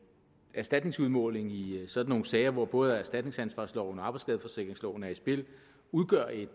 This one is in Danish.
erstatningsudmåling i sådan nogle sager hvor både erstatningsansvarsloven og arbejdsskadeforsikringsloven er i spil udgør et